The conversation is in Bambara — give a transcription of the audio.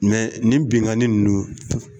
nin binkanni nunnu